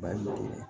Ba ye